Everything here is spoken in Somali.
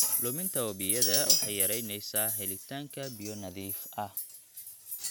Luminta wabiyada waxay yaraynaysaa helitaanka biyo nadiif ah.